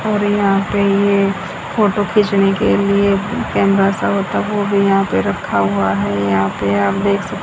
और यहां पे ये फोटो खींचने के लिए कैमरा सा होता है वो भी यहां पर रखा हुआ है यहां पे आप देख सक--